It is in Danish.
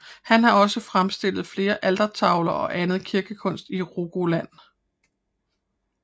Han har også fremstillet flere altertavler og anden kirkekunst i Rogaland